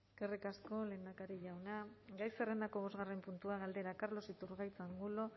eskerrik asko lehendakari jauna gai zerrendako bosgarren puntua galdera carlos iturgaiz angulo